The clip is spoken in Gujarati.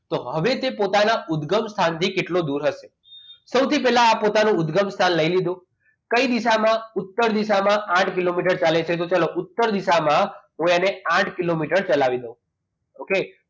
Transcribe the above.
તો હવે તે પોતાના ઉદગમ સ્થાનથી કેટલો દૂર હશે? સૌથી પહેલા આ પોતાન ઉદગમ સ્થાન લઈ લીધું. કઈ દિશામાં ઉત્તર દિશામાં આથ કિલોમીટર ચાલે છે તો ચાલો ઉત્તર દિશામાં હું એને આઠ કિલોમીટર ચલાવી દઉં okay